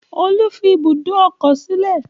Olú fi ibùdó ọkọ̀ sílẹ̀.